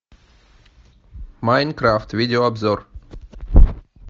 майнкрафт видеообзор